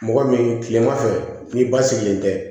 Mɔgɔ min tilema fɛ n'i ba sigilen tɛ